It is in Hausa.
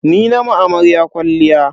Ni na ma amaryar kwalliya.